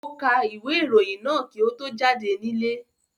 Ó ka ìwé-ìròyìn náà kí ó tó jáde nílé.